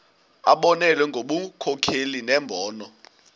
abonelele ngobunkokheli nembono